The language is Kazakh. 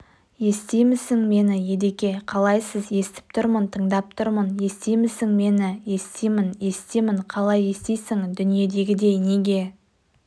естимісің мені едеке қалайсыз естіп тұрмын тыңдап тұрмын естимісің мені естимін естимін қалай естисің дүниедегідей неге